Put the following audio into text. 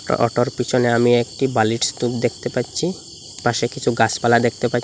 অটোর পিছনে আমি একটি বালির স্তূপ দেখতে পাচ্ছি পাশে কিছু গাছপালা দেখতে পাচ্ছি।